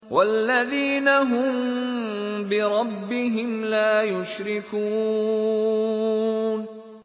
وَالَّذِينَ هُم بِرَبِّهِمْ لَا يُشْرِكُونَ